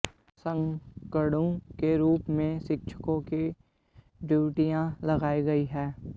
संगणकों के रूप में शिक्षकों की ड्यूटियां लगाई गई हैं